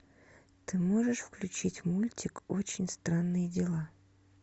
ты можешь включить мультик очень странные дела